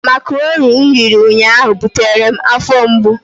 Makaroni m riri ụnyaahụ butere m afọ mgbu.